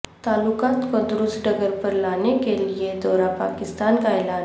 تعلقات کو درست ڈگر پر لانے کے لیے دورہ پاکستان کا اعلان